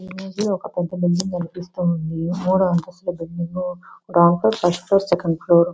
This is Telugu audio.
ఈ ఇమేజ్ లో ఒక పెద్ద బిల్డింగ్ కనిపిస్తూ ఉంది. మూడు అంతస్తుల building .ground floor first floor second floor --